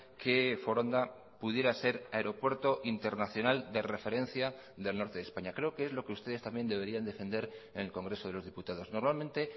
que foronda pudiera ser aeropuerto internacional de referencia del norte de españa creo que es lo que ustedes también deberían defender en el congreso de los diputados normalmente